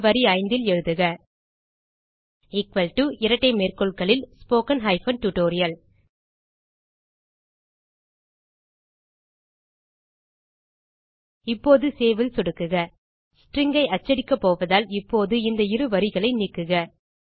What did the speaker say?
எனவே வரி 5ல் எழுதுக இரட்டை மேற்கோள்களில் ஸ்போக்கன் டியூட்டோரியல் இப்போது சேவ் ல் சொடுக்குக ஸ்ட்ரிங் ஐ அச்சடிக்கப்போவதால் இப்போது இந்த இரு வரிகளை நீக்குக